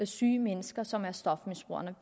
syge mennesker som stofmisbrugerne